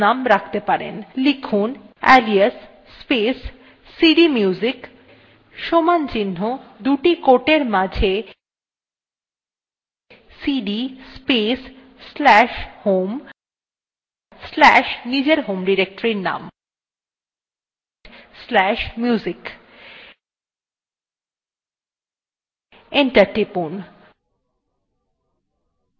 লিখুন alias space cdmusic সমান চিহ্ন দুটি quoteএর মাঝে cd space slash home slash নিজের home ডিরেক্টরীর name slash music enter press টিপুন